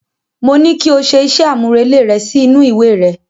Mo ní kí o ṣe iṣẹ́ àmúrelé rẹ sí inú ìwé rẹ.